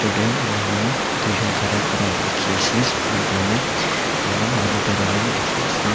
mahan tui jun khara kura dekhe ase spear thurena aro manu bara la beh dekhe ase.